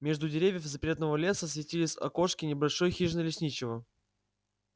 между деревьев запретного леса светились окошки небольшой хижины лесничего